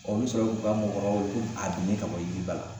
n mi sɔrɔ k'u ka mɔgɔkɔrɔbaw weele ko a bin ka bɔ yiriba la